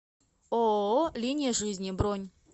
ооо линия жизни бронь